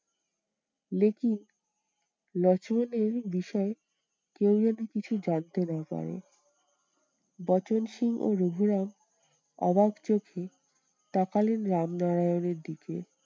দেখি লক্ষ্মণের বিষয়ে কেউ যেন কিছু জানতে না পারে? বচনসুর ও রঘুরাম অবাক চোখে তাকালেন রামনারায়ণের দিকে।